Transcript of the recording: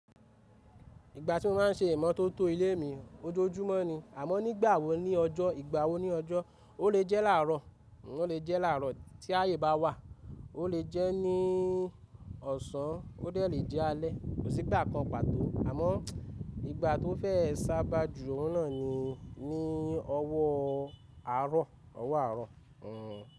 Ìgbà tí mo má n ṣe ìmọ́tótó ilé mi ojoojúmọ́ ni, àmọ́ nígbà wo ní ọjọ́, ìgbà wo ní ọjọ́? Ó lè jẹ́ láàrọ̀, ó lè jẹ́ láàrọ̀ tí ayé bá wà, ó lè jẹ́ ní ọ̀sán, ó dẹ̀ lè jẹ́ alẹ́, kò sí ìgbà kan pàtó. Àmọ́ ìgbà tó fẹ́ sábà jù, òun náà ni ní ọwọ́ àárọ̀, ọwọ́ àárọ̀.